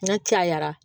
N'a cayara